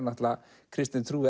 kristin trú